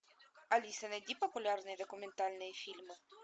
алиса найди популярные документальные фильмы